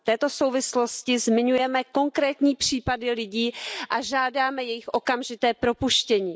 V této souvislosti zmiňujeme konkrétní případy lidí a žádáme jejich okamžité propuštění.